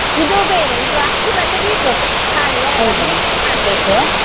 ಇದು ಬೇರೆ. ಇದು ಅಕ್ಕಿ ಮತ್ತೆ beetroot ಖಾಲಿ mix ಮಾಡ್ಬೇಕು.